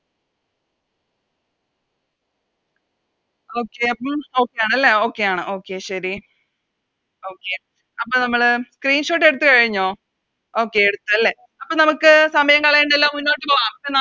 Okay അപ്പോം Okay ആണല്ലേ Okay ആണ് Okay ശെരി Okay അപ്പോ നമ്മള് Screenshot എടുത്ത് കഴിഞ്ഞോ Okay എടുത്തല്ലേ അപ്പൊ നമുക്ക് സമയം കളയണ്ടാലോ മുന്നോട്ട് പോകാം